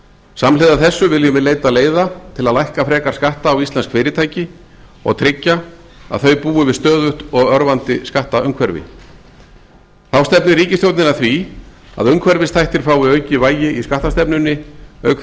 samhliða þessu viljum við leita leiða til að lækka frekar skatta á ísland fyrirtæki og tryggja að þau búi við stöðugt og örvandi skattaumhverfi þá stefnir ríkisstjórnin að því að umhverfisþættir fái aukið vægi í skattastefnunni auk þess